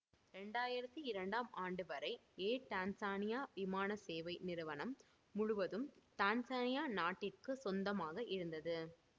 ரெண்டாயரித்தி இரண்டாம் ஆண்டுவரை air Tanzania விமான சேவை நிறுவனம் முழுவதும் டான்சானியா நாட்டிற்குச் சொந்தமாக இருந்தது